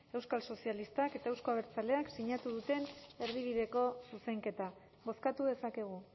euskal sozialistak eta euzko abertzaleek sinatu duten erdibideko zuzenketa bozkatu dezakegu